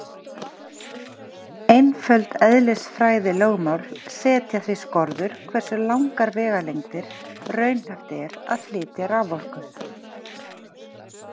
Einföld eðlisfræðilögmál setja því skorður hversu langar vegalengdir raunhæft er að flytja raforku.